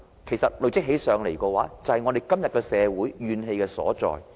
其實這些累積起來，便是社會今天的怨氣所在。